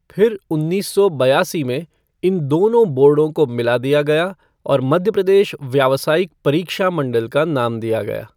फिर उन्नीस सौ बयासी में, इन दोनों बोर्डों को मिला दिया गया और मध्य प्रदेश व्यावसायिक परीक्षा मंडल का नाम दिया गया।